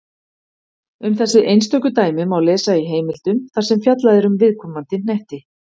Um þessi einstöku dæmi má lesa í heimildum þar sem fjallað er um viðkomandi hnetti.